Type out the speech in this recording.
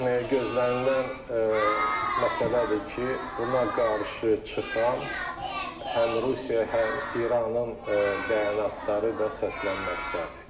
gözlənilən məsələdir ki, buna qarşı çıxan həm Rusiya, həm İranın bəyanatları da səslənməkdədir.